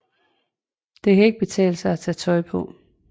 Det kan ikke betale sig at tage tøj på